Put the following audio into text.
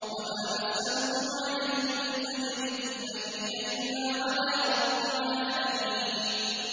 وَمَا أَسْأَلُكُمْ عَلَيْهِ مِنْ أَجْرٍ ۖ إِنْ أَجْرِيَ إِلَّا عَلَىٰ رَبِّ الْعَالَمِينَ